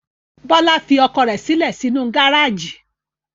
Bọ́lá fi ọkọ̀ rẹ̀ sílẹ̀ sínú gárájì.